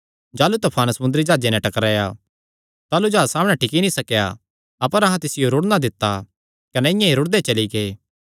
जाह़लू तफान समुंदरी जाह्जे नैं टकराया ताह़लू जाह्ज सामणै टिकी नीं सकेया अपर अहां तिसियो रुड़णा दित्ता कने इआं ई रुड़दे चली गै